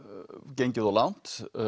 gengið of langt